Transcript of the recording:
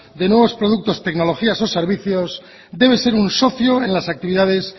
de nuevos productos tecnologías o servicios debe ser un socio en las actividades